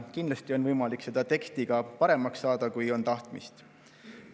Kindlasti on võimalik seda teksti paremaks saada, kui on tahtmist.